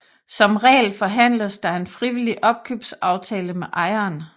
Som regel forhandles der en frivillig opkøbsaftale med ejeren